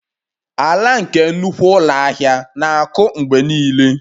Ala nke nnukwu ụlọ ahịa na-akụ mgbe niile